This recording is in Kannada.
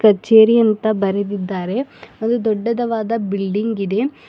ಕಚೇರಿ ಅಂತ ಬರೆದಿದ್ದಾರೆ ಅದು ದೊಡ್ಡದವಾದ ಬಿಲ್ಡಿಂಗ್ ಇದೆ.